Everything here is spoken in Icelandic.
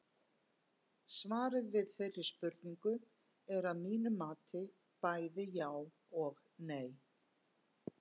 Svarið við þeirri spurningu er að mínu mati bæði já og nei.